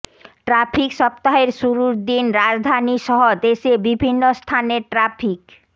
traffic সপ্তাহের শুরুর দিন রাজধানীসহ দেশের বিভিন্ন স্থানে ট্রাফিক